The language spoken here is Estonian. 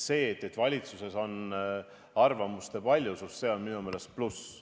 See, et valitsuses on arvamuste paljusus, on minu meelest pluss.